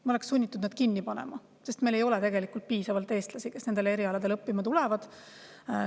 Me oleks sunnitud need kinni panema, sest meil ei ole piisavalt eestlasi, kes nendele erialadele õppima tulevad.